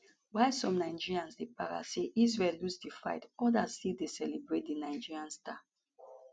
while some nigerians dey para say israel lose di fight odas still dey celebrate di nigerian star